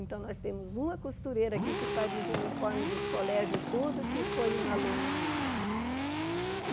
Então, nós temos uma costureira aqui que faz os uniformes dos colégios tudo, que foi uma aluna minha.